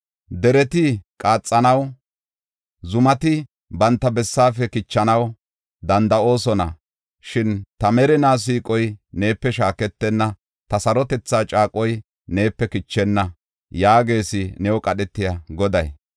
Dereti qaxanaw, zumati banta bessaafe kichanaw danda7oosona; shin ta merinaa siiqoy neepe shaaketenna; ta sarotetha caaqoy neepe kichenna” yaagees new qadhetiya Goday.